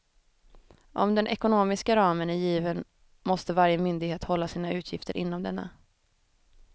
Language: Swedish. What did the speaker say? Om den ekonomiska ramen är given måste varje myndighet hålla sina utgifter inom denna.